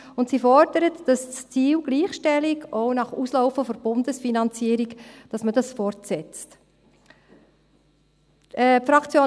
Und sie fordert, dass das Ziel Gleichstellung auch nach Auslaufen der Bundesfinanzierung fortgesetzt wird.